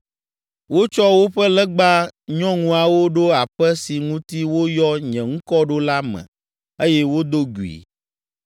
Wotsɔ woƒe legba nyɔŋuawo ɖo aƒe si ŋuti woyɔ nye ŋkɔ ɖo la me eye wodo gui.